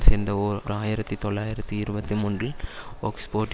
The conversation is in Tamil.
சேர்ந்த ஓர் ஆயிரத்தி தொள்ளாயிரத்தி இருபத்தி மூன்றில் ஒக்ஸ்போட்